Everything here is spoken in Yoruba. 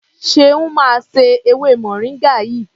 Ṣeun máa se ewé moringa yìí.